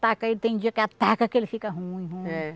ataca ele tem dia que ataca que ele fica ruim, ruim. É